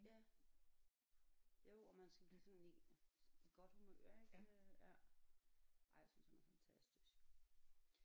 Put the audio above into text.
Ja jo og man skal blive sådan i i godt humør ik øh ja ej jeg synes han er fantastisk